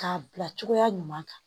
K'a bila cogoya ɲuman kan